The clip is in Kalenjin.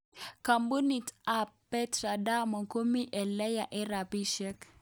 Kampunit tabPetra Diamond komi eleya eng rapishek.